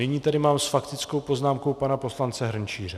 Nyní tady mám s faktickou poznámkou pana poslance Hrnčíře.